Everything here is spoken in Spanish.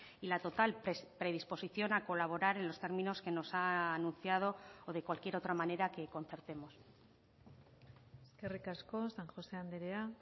y la total predisposición a colaborar en los términos que nos ha anunciado o de cualquier otra manera que concertemos eskerrik asko san josé andrea